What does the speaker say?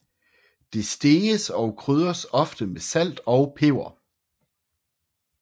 Det steges og krydres ofte med salt og peber